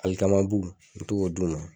Alikamabu i b'i to k'o d'u ma.